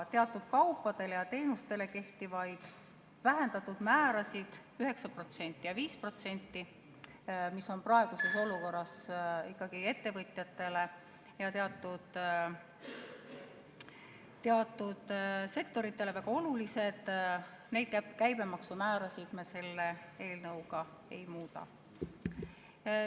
Teatud kaupadele ja teenustele kehtivaid vähendatud määrasid, 9% ja 5%, mis on praeguses olukorras ettevõtjatele ja teatud sektoritele ikkagi väga olulised, neid käibemaksumäärasid me selle eelnõuga ei muuda.